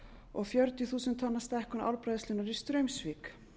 og fjörutíu þúsund tonna stækkun álbræðslunnar í straumsvík